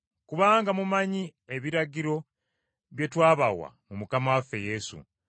Kubanga mumanyi ebiragiro bye twabawa mu Mukama waffe Yesu.